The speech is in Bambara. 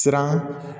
Siran